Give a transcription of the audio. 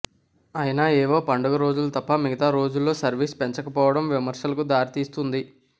అయినా ఏవో పండగల రోజులు తప్ప మిగతా రోజుల్లో సర్వీస్లు పెంచ కపోవడం విమర్శలకు దారితీస్తోంది